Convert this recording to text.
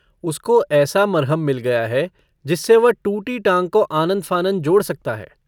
उसको ऐसा मरहम मिल गया है जिससे वह टूटी टाँग को आनन-फ़ानन जोड़ सकता है।